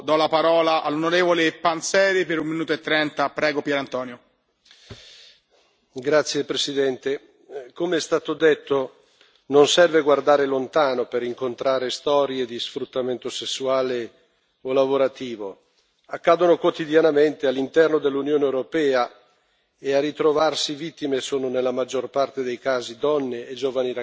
Signor Presidente, onorevoli colleghi, come è stato detto, non serve guardare lontano per incontrare storie di sfruttamento sessuale o lavorativo accadono quotidianamente all'interno dell'Unione europea e a ritrovarsi vittime sono, nella maggior parte dei casi, donne e giovani ragazze,